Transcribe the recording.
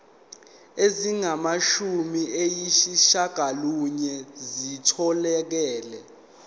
ezingamashumi ayishiyagalolunye zitholakele